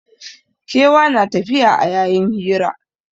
Kewa na tafiya a yayin hira